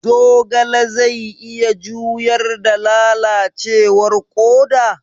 Zogale zai iya juyar da lalacewar koda?